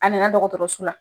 A nana dɔgɔtɔrɔo la.